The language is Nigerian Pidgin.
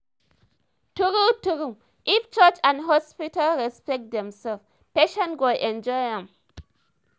true-true! if church and hospital respect themselves patient go enjoy am.